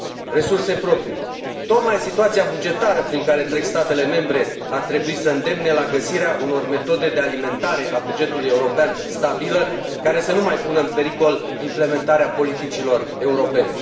Resurse proprii tocmai situația bugetară prin care trec statele membre ar trebui să îndemne la găsirea unor metode de alimentare a bugetului european stabile, care să nu mai pună în pericol implementarea politicilor europene.